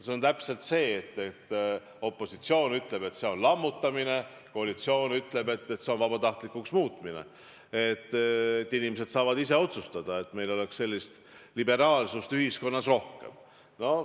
See on täpselt nii, et opositsioon ütleb, et see on lammutamine, koalitsioon aga ütleb, et see on vabatahtlikuks muutmine ja inimesed saavad ise otsustada ning meil oleks liberaalsust ühiskonnas rohkem.